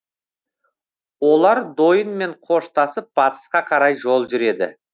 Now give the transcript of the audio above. олар дойынмен қоштасып батысқа қарай жол жүреді